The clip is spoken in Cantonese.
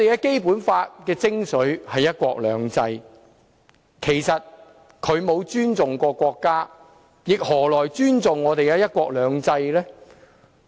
《基本法》的精髓是"一國兩制"，其實他沒有尊重過國家，何來尊重我們的"一國兩制"呢？